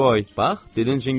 Bax, dilin cingildiyir axı.